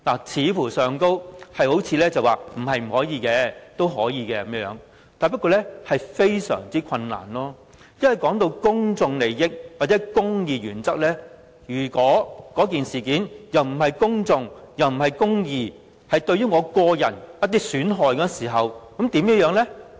在條文看來，像是說不是不可以，但非常困難，因為談到公眾利益或公義原則，如果這件事情既不屬公眾，又不是公義，只是對個人的一些損害時，那怎麼樣呢？